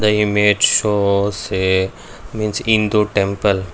the image shows a means hindu temple.